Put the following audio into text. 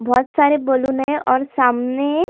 बहुत सारे बलून है और सामने--